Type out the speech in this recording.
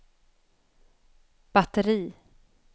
batteri